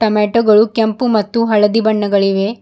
Tomato ಗಳು ಕೆಂಪು ಮತ್ತು ಹಳದಿ ಬಣ್ಣಗಳಿವೆ.